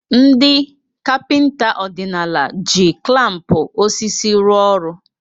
Ndị kapịnta ọdịnala ji klampu osisi rụo ọrụ.